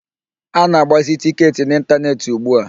A na-agbazi tịketị n'ịntaneetị ugbua.